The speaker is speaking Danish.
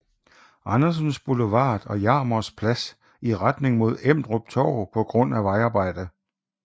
Andersens Boulevard og Jarmers Plads i retning mod Emdrup Torv på grund af vejarbejde